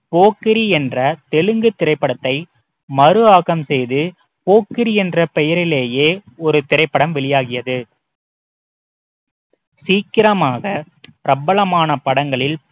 போக்கிரி என்ற தெலுங்கு திரைப்படத்தை மறு ஆக்கம் செய்து போக்கிரி என்ற பெயரிலேயே ஒரு திரைப்படம் வெளியாகியது சீக்கிரமாக பிரபலமான படங்களில்